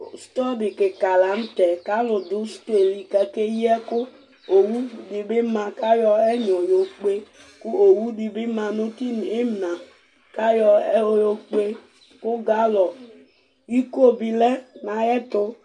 store di kikaa lantɛ kʋ alʋ dʋ store li kʋ akɛ yi ɛkʋ, ɔwʋ dibi ma kʋ ayɔ ɛnyɔ yɔ kpè kʋ ɔwʋ dibi manʋ ina kʋ ayɔ yɔ kpè kʋ gallon, ikɔ bi lɛnʋ ayɛtʋ